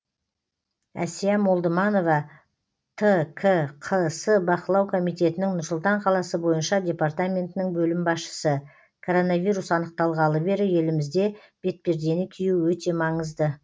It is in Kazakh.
әсия молдыманова ткқс бақылау комитетінің нұр сұлтан қаласы бойынша департаментінің бөлім басшысы коронавирус анықталғалы бері елімізде бетпердені кию өте маңызды